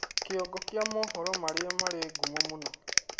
kĩongo kĩa mohoro marĩa marĩ ngumo mũno